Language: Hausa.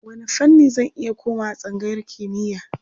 Wanne fanni zan iya komawa a tsangayar kimiyya?